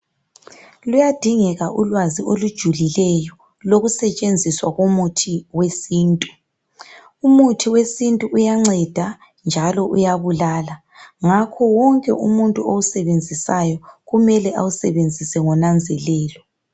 Luyadingeka ulwazi olujulileyo lokusetshenziswa kwomuthi wesintu umuthi wesintu uyanceda njalo uyabulala ngakho kwonke umuntu osebenzisayo kumele awusebenzise ngonanzelelo